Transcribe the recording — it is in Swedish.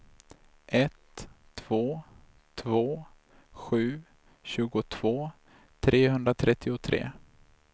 ett två två sju tjugotvå trehundratrettiotre